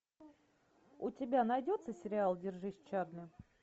у тебя найдется сериал держись чарли